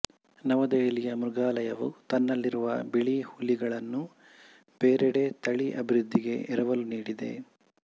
ನವದೆಹಲಿಯ ಮೃಗಾಲಯವು ತನ್ನಲ್ಲಿರುವ ಬಿಳಿ ಹುಲಿಗಳನ್ನು ಬೇರೆಡೆ ತಳಿ ಅಬಿವೃದ್ಧಿಗೆ ಎರವಲು ನೀಡಿದೆ